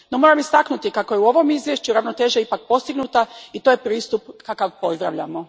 No, moram istaknuti kako je u ovom izvješću ravnoteža ipak postignuta i to je pristup kakav pozdravljamo.